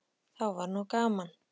Þá var nú gaman!